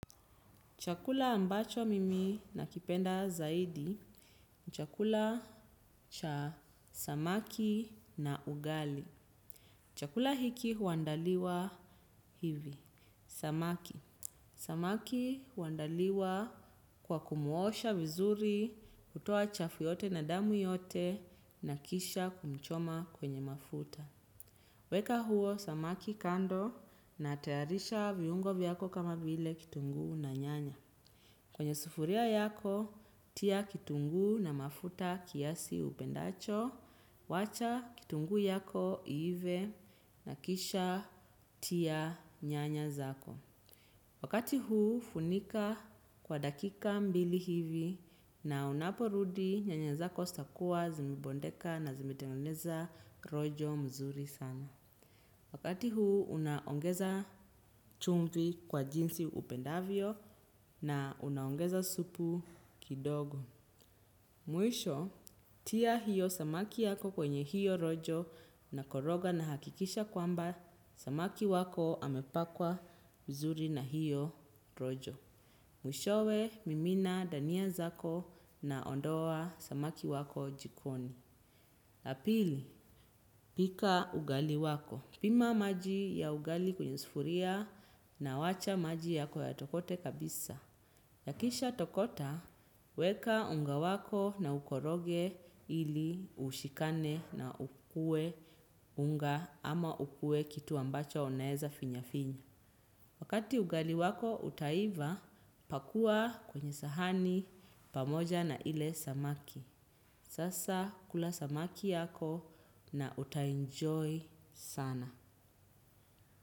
Chakula ambacho mimi nakipenda zaidi, chakula cha samaki na ugali. Chakula hiki huandaliwa hivi, samaki. Samaki huandaliwa kwa kumuosha vizuri, kutoa chafu yote na damu yote na kisha kumchoma kwenye mafuta. Weka huo samaki kando na tayarisha viungo vyako kama vile kitunguu na nyanya. Kwenye sufuria yako, tia kitunguu na mafuta kiasi upendacho, wacha kitunguu yako iive na kisha tia nyanya zako. Wakati huu, funika kwa dakika mbili hivi na unaporudi nyanya zako zitakuwa zimebondeka na zimetengeneza rojo mzuri sana. Wakati huu unaongeza chumvi kwa jinsi upendavyo na unaongeza supu kidogo. Mwisho, tia hiyo samaki yako kwenye hiyo rojo na koroga na hakikisha kwamba, samaki wako amepakwa mzuri na hiyo rojo. Mwishowe, mimina dania zako na ondoa samaki wako jikoni. Pili, pika ugali wako. Pima maji ya ugali kwenye sufuria na wacha maji yako yatokote kabisa. Yakisha tokota, weka unga wako na ukoroge ili ushikane na ukue unga ama ukue kitu ambacho unaeza finya finya. Wakati ugali wako utaiva, pakua kwenye sahani pamoja na ile samaki. Sasa kula samaki yako na uta enjoy sana.